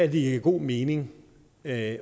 giver god mening at